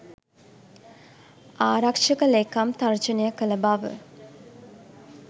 ආරක්ෂක ලේකම් තර්ජනය කළ බව